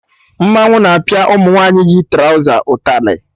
Mmanwụ na-apịa ụmụ nwaanyị yi trọza ụtarị